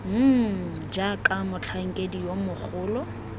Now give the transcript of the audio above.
mmm jaaka motlhankedi yo mogolo